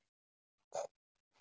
Bara plat.